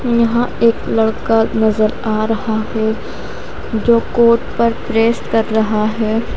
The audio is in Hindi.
यहां एक लड़का नजर आ रहा है जो कोट पर प्रेस कर रहा है।